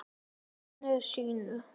Að gamni sínu?